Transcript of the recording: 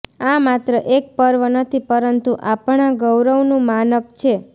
આ માત્ર એક પર્વ નથી પરંતુ આપણા ગૌરવનુ માનક છે